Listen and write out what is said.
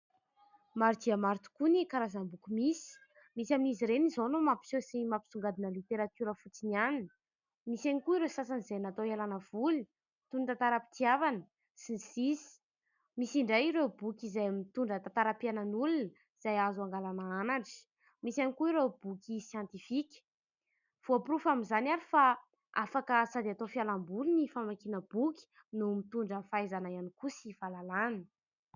Maro dia maro tokoa ny karazam-boky misy : misy amin'izy ireny izao no mapiseho sy mampisongadina ny literatiora fotsiny ihany, misy ihany koa ireo sasany izay natao hialana voly toy ny tantaram-pitiavana sy ny sisa, misy indray ireo boky izay mitondra tantaram-piainan'olona izay azo angalana anatra, misy ihany koa ireo boky siantifika. Voaporofo amin'izany ary fa afaka sady atao fialamboly ny famakiana boky no mitondra fahaizana ihany koa sy fahalalàna.